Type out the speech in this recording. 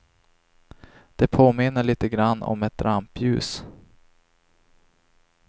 Det påminner lite grand om ett rampljus.